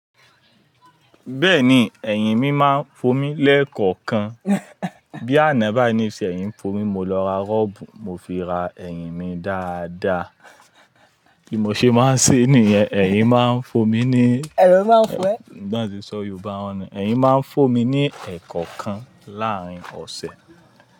Bẹ́ẹ̀ni, ẹ̀yìn mi máa ń fomi lẹ́ẹ̀kọ̀kan. Bí àná bái ní sẹ̀yìn ń fomi, mo lọ ra rọ́bù mo fi ra ẹ̀yìn mi dáadáa. Kí mo ṣe máa ṣé nìyẹn, ẹ̀yìn máa ń fomi ní, bí wọ́n tí n sọ Yorùbá ni, ẹ̀yìn máa ń fomi ní ẹ̀kọ̀kan láàárín ọ̀sẹ̀